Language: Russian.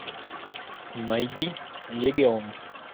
найди легион